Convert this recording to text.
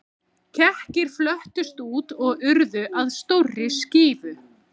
Kekkirnir flöttust út og urðu að stórri skífu.